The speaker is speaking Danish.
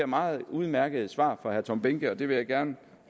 meget udmærket svar fra herre tom behnke og det vil jeg gerne